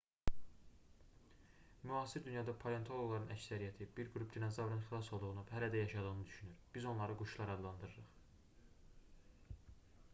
müasir dünyada palentoloqların əksəriyyəti bir qrup dinozavrın xilas olduğunu və hələ də yaşadığını düşünür biz onları quşlar adlandırırq